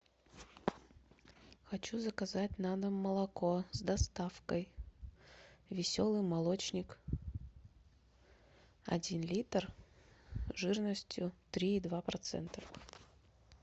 хочу заказать на дом молоко с доставкой веселый молочник один литр жирностью три и два процента